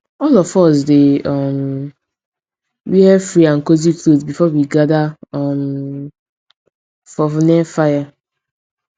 all of us dey um wear free and cozy cloth before we gather um for near fire